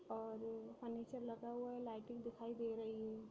और यह फर्नीचर लगा हुआ है लाइटिंग दिखाई दे रही है।